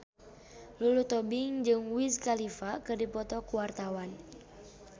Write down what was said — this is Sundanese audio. Lulu Tobing jeung Wiz Khalifa keur dipoto ku wartawan